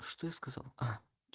что я сказал а